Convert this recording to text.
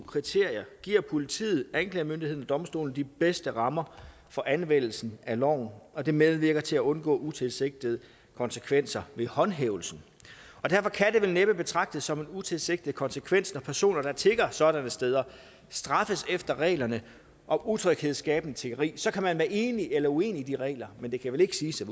kriterier giver politiet anklagemyndigheden domstolene de bedste rammer for anvendelse af loven og det medvirker til at undgå utilsigtede konsekvenser ved håndhævelsen derfor kan det vel næppe betragtes som en utilsigtet konsekvens når personer der tigger sådanne steder straffes efter reglerne om utryghedsskabende tiggeri så kan man være enig eller uenig i reglerne men det kan vel ikke siges at